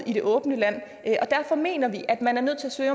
i det åbne land derfor mener vi at man er nødt til at